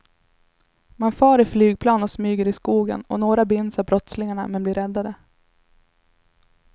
Man far i flygplan och smyger i skogen och några binds av brottslingarna men blir räddade.